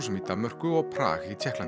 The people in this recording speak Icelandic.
í Danmörku og Prag í Tékklandi